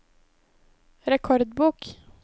rekordbok